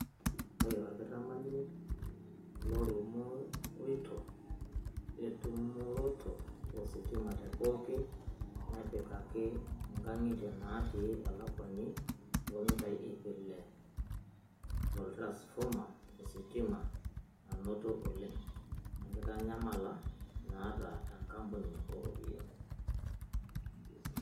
Ore olkitamanyune, lorumorito etumoroto ositima te pooki nepikaki ngangitia natii elakuani oomitaii iip ile to ltransfoma ositimananoto oleng enkitanyamala naata enkapuni ooropiyiani.